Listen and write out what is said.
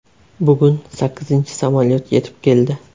Bugun sakkizinchi samolyot yetib keldi.